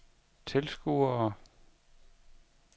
tilskuere